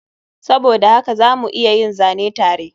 Saboda haka za mu iya yin zane tare